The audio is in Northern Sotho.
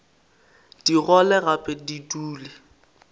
di gole gape di dule